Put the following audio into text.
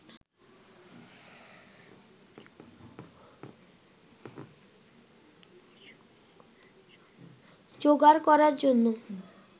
জোগাড় করার জন্য